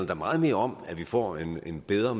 da meget mere om at vi får en bedre